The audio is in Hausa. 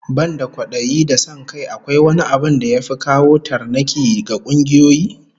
Banda kwadayi da son kai, akwai wani abin da ya fi kawo tarnaki ga kungiyoyi?